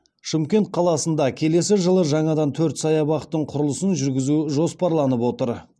шымкент қаласында келесі жылы жаңадан төрт саябақтың құрылысын жүргізу жоспарланып отыр